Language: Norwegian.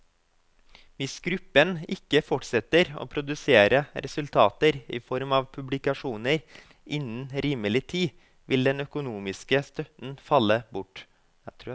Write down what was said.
Hvis gruppen ikke fortsetter å produsere resultater i form av publikasjoner innen rimelig tid, vil den økonomiske støtten falle bort.